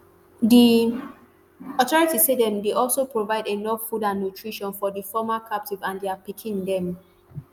di authorities say dem dey also provide enough food and nutrition for di former captives and dia pikin dem